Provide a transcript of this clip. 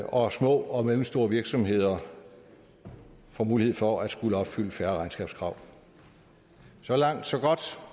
og små og mellemstore virksomheder får mulighed for at skulle opfylde færre regnskabskrav så langt så godt